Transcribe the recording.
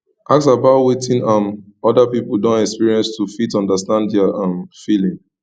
ask about wetin um oda pipo don experience to fit understand their um feeling